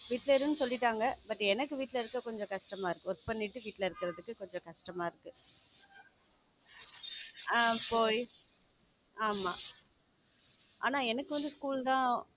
வீட்ல இருனு சொல்லிட்டாங்க but எனக்கு வீட்ல இருக்க கொஞ்சம் கஷ்டமா இருக்கு work பண்ணிட்டு வீட்ல இருக்கிறதுக்கு கொஞ்சம் கஷ்டமா இருக்கு ஹம் இப்போ ஆமா ஆனா எனக்கு வந்து school தான்